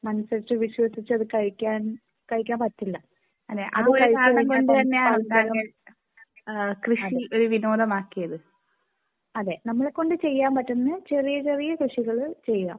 മനസ്സ് അറിഞ്ഞ് വിശ്വസിച്ച് അത് കഴിക്കാൻ കഴിക്കാൻ പറ്റില്ല അത് കഴിച്ച് കഴിഞ്ഞാൽ അതേ അതേ നമ്മളെ കൊണ്ട് ചെയ്യാൻ പറ്റുന്ന ചെറിയ ചെറിയ കൃഷികൾ ചെയ്യുക .